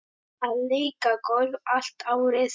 Að leika golf allt árið.